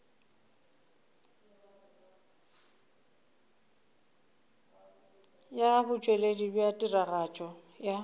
ya botšweletši bja tiragatšo ya